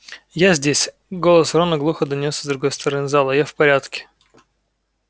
я здесь голос рона глухо донёсся с другой стороны зала я в порядке